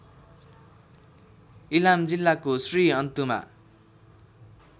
इलाम जिल्लाको श्रीअन्तुमा